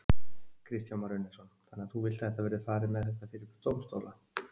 Kristján Már Unnarsson: Þannig að þú vilt að þetta verði farið með þetta fyrir dómstóla?